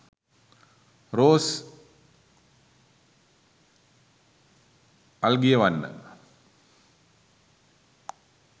rose alagiyawanna